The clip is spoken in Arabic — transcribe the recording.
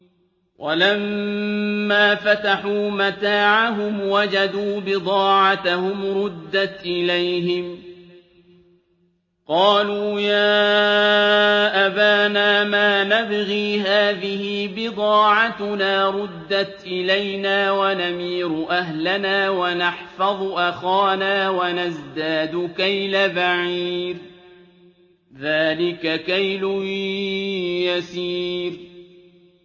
وَلَمَّا فَتَحُوا مَتَاعَهُمْ وَجَدُوا بِضَاعَتَهُمْ رُدَّتْ إِلَيْهِمْ ۖ قَالُوا يَا أَبَانَا مَا نَبْغِي ۖ هَٰذِهِ بِضَاعَتُنَا رُدَّتْ إِلَيْنَا ۖ وَنَمِيرُ أَهْلَنَا وَنَحْفَظُ أَخَانَا وَنَزْدَادُ كَيْلَ بَعِيرٍ ۖ ذَٰلِكَ كَيْلٌ يَسِيرٌ